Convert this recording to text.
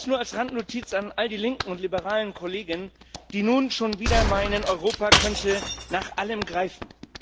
Das nur als Randnotiz an all die linken und liberalen Kollegen, die nun schon wieder meinen, Europa könnte nach allem greifen.